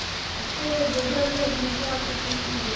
ଏତେ ବଢିଆ ବଢିଆ ଜିନିଷ ଆସୁଛି you tube ରେ